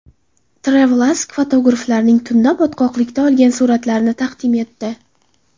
TravelAsk fotograflarning tunda botqoqlikda olgan suratlarini taqdim etdi.